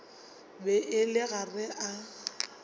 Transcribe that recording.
be a le gare a